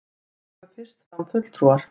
Komu fyrst fram fulltrúar